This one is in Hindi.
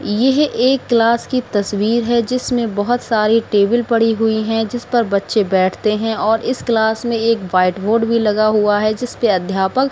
यह एक क्लास की तस्वीर है जिसमें बहोत सारे टेबल पड़ी हुई हैं जिस पर बच्चे बैठते हैं और इस क्लास में एक व्हाइट बोर्ड भी लगा हुआ है जिसपे अध्यापक --